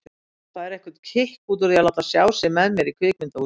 Hann fær eitthvert kikk út úr því að láta sjá sig með mér í kvikmyndahúsi.